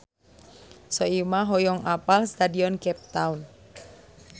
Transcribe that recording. Soimah hoyong apal Stadion Cape Town